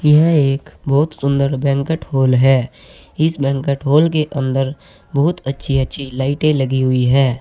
यह एक बहोत सुंदर बैंकट हॉल है इस बैंकट हॉल के अंदर बहुत अच्छी अच्छी लाइटे लगी हुई है।